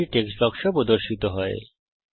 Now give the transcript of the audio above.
একটি টেক্সট বাক্স প্রর্দশিত হবে